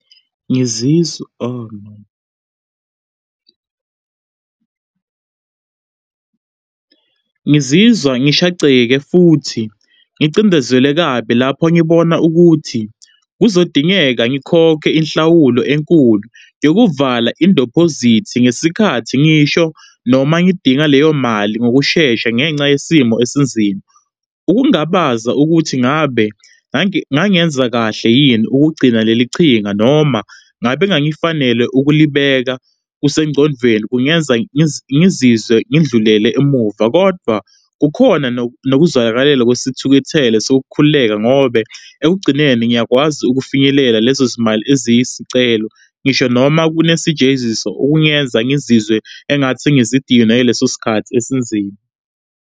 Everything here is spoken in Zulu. Ngizizwa, ohh no ngizizwa ngishaqeke futhi ngicindezelwe kabi lapho ngibona ukuthi kuzodingeka ngikhokhe inhlawulo enkulu yokuvala indepozithi ngesikhathi, ngisho noma ngidinga leyo mali ngokushesha ngenxa yesimo esinzima. Ukungabaza ukuthi ngabe ngangenza kahle yini ukugcina lelichinga, noma ngabe ngangifanele ukulibeka kusengqondvweni, kungenza ngizizwe ngidlulele emuva, kodwa kukhona nokuzwakalela kwesithukuthele sokukhululeka ngobe ekugcineni ngiyakwazi ukufinyelela lezozimali eziyisicelo, ngisho noma kunesijeziso ukuyenza ngizizwe engathi sengisiyidina leso sikhathi esinzima.